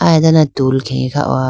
ay dane tool khege kha howa.